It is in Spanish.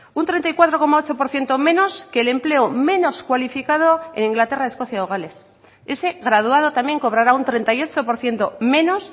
un treinta y cuatro coma ocho por ciento menos que el empleo menos cualificado en inglaterra escocia o gales ese graduado también cobrara un treinta y ocho por ciento menos